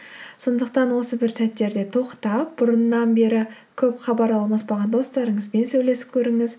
сондықтан осы бір сәттерде тоқтап бұрыннан бері көп хабар алмаспаған достарыңызбен сөйлесіп көріңіз